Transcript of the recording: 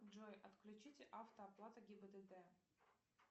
джой отключите автооплату гибдд